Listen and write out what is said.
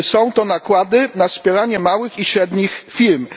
Są to nakłady na wspieranie małych i średnich firm.